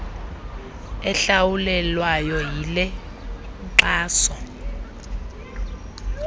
ehlawulelwayo yile nkxaso